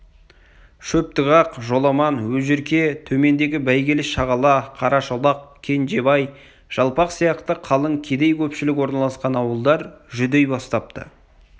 шөптіғақ жоламан өжерке төмендегі бәйгелі-шағала қарашолақ кенжебай жалпақ сияқты қалың кедей-көпшілік орналасқан ауылдар жүдей бастапты